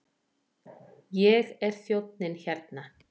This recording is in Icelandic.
Ég er þjónninn hérna.